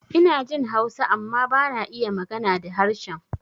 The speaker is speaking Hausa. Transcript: Inajin Hausa amma bana iya magana da harshen